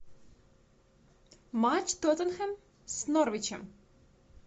матч тоттенхэм с норвичем